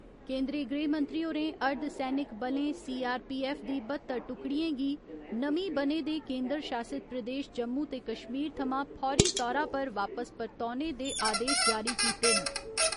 केन्दरी गृहमंत्री होरें अर्धसैनिक बलें सी आर पी ऐफ्फ दी बत्तर टुकड़ियें गी नमीं बने दे केन्दर शासित प्रदेश जम्मू ते कश्मीर थमां फौरी तौरा पर वापस परतौने दे आदेश जारी कीते न।